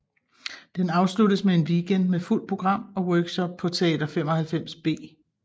Den afsluttes med en weekend med fuldt program og workshop på Teater 95B